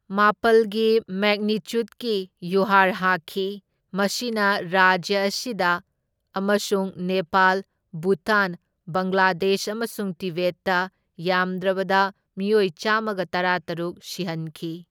ꯃꯥꯄꯜꯒꯤ ꯃꯦꯒꯅꯤꯆꯨꯠꯀꯤ ꯌꯨꯍꯥꯔ ꯍꯥꯈꯤ, ꯃꯁꯤꯅ ꯔꯥꯖ꯭ꯌ ꯑꯁꯤꯗ ꯑꯃꯁꯨꯡ ꯅꯦꯄꯥꯜ, ꯚꯨꯇꯥꯟ, ꯕꯪꯒ꯭ꯂꯥꯗꯦꯁ ꯑꯃꯁꯨꯡ ꯇꯤꯕꯦꯠꯇ ꯌꯥꯝꯗ꯭ꯔꯕꯗ ꯃꯤꯑꯣꯏ ꯆꯥꯝꯃꯒ ꯇꯔꯥꯇꯔꯨꯛ ꯁꯤꯍꯟꯈꯤ꯫